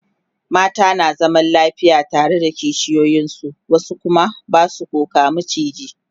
mata na zama lafiya tare da kishiyoyin su wasu Kuma Basu koh ga maciji